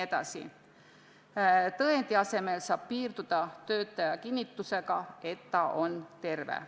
Tõendi asemel saab piirduda töötaja kinnitusega, et ta on terve.